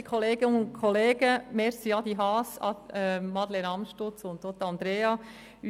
Vielen Dank, Adrian Haas, Madeleine Amstutz und auch Andrea de Meuron.